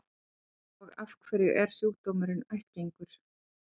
Og af hverju er sjúkdómurinn ættgengur?